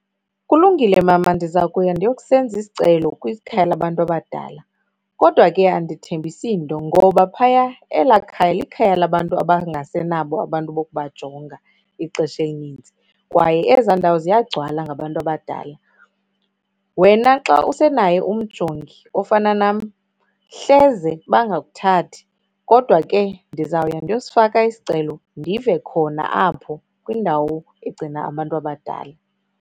Kulungile mama, ndiza kuya ndiyo kusenza isicelo kwikhaya labantu abadala. Kodwa ke andithembisi into ngoba phaya, elaa khaya likhaya labantu abangasenabo abantu bokubajonga ixesha elininzi. Kwaye ezaa ndawo ziyagcwala ngabantu abadalak wena xa usenaye umjongi ofana nam, hleze bangakuthathi. Kodwa ke ndizawuya ndiyosifaka isicelo, ndive khona apho kwindawo egcina abantu abadala.